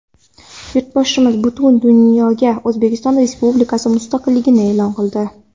Yurtboshimiz butun dunyoga O‘zbekiston Respublikasi mustaqilligini e’lon qildi.